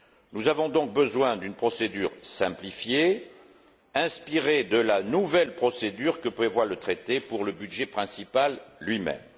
Nous avons donc besoin d'une procédure simplifiée, inspirée de la nouvelle procédure que prévoit le Traité pour le budget principal lui même.